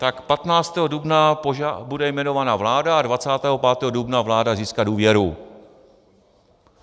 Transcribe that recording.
Tak 15. dubna bude jmenována vláda a 25. dubna vláda získá důvěru.